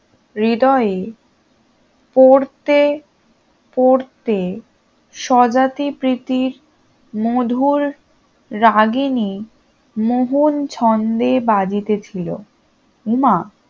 হৃদয়ে পড়তে পড়তে স্বজাতি প্রীতির মধুর রাগিনী মোহন ছন্দে বাজিতেছিল উমা